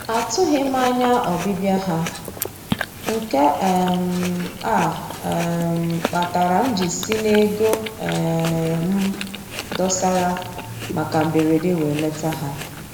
Atụghị m anya ọbịbịa ha, nke um a um kpatara m ji si n'ego um m dosara maka mberede wee leta ha